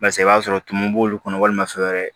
Barisa i b'a sɔrɔ tumu b'olu kɔnɔ walima fɛn wɛrɛ